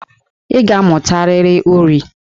Ị ga-amụtarịrị uri!